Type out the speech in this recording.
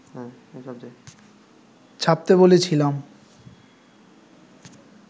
ছাপতে বলেছিলাম